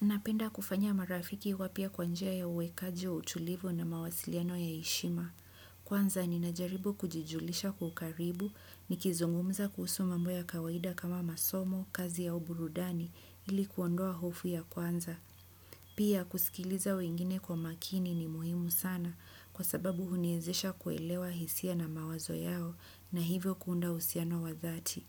Napenda kufanya marafiki wapya kwa njia ya uwekaji wa utulivu na mawasiliano ya heshima. Kwanza ninajaribu kujijulisha kwa ukaribu nikizungumza kuhusu mambo ya kawaida kama masomo, kazi au burudani ili kuondoa hofu ya kwanza. Pia kusikiliza wengine kwa makini ni muhimu sana kwa sababu huniwezesha kuelewa hisia na mawazo yao na hivyo kuunda uhusiano wa dhati.